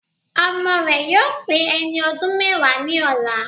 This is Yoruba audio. Ọmọ rẹ̀ yóò pé ẹni ọdún mẹ́wàá ní ọ̀la